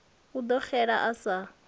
a ḓo xela a sa